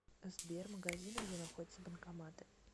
сбер магазины где находятся банкоматы